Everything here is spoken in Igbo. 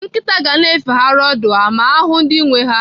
Nkịta ga-na efegharị ọdụ ha ma ha hụụ ndị nwee ha.